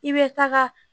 I bɛ taga